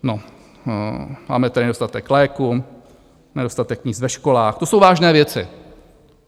No, máme tady nedostatek léků, nedostatek míst ve školách, to jsou vážné věci.